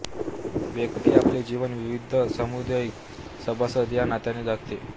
व्यक्ती आपले जीवन विविध समूदायीक सभासद या नात्याने जगते